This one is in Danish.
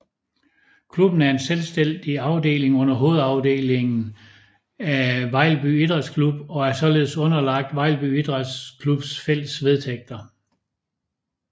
Klubben er en selvstændig afdeling under hovedafdelingen Vejlby Idræts Klub og er således underlagt Vejlby Idræts Klubs fælles vedtægter